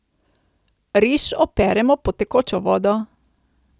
Riž operemo pod tekočo vodo.